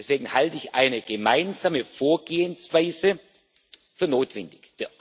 Deswegen halte ich eine gemeinsame Vorgehensweise für notwendig.